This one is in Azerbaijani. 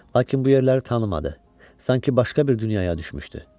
Lakin bu yerləri tanımadı, sanki başqa bir dünyaya düşmüşdü.